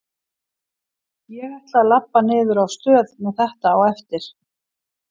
Ég ætla að labba niður á stöð með þetta á eftir.